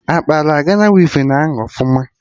Akpara Gana wivin ahụ ọfụma?